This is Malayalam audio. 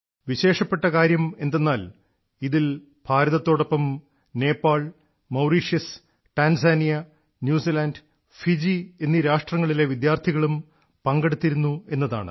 വിശേഷപ്പെട്ട കാര്യമെന്തെന്നാൽ ഇതിൽ ഭാരതത്തോടൊപ്പം Nepal Mauritius Tanzania New Zealand Fiji എന്നീ രാഷ്ട്രങ്ങളിലെ വിദ്യാർത്ഥികളും പങ്കെടുത്തിരുന്നു എന്നതാണ്